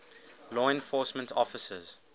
law enforcement officers